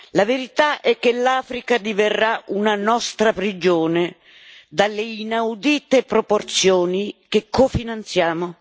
La verità è che l'Africa diverrà una nostra prigione, dalle inaudite proporzioni, che cofinanziamo.